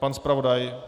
Pan zpravodaj?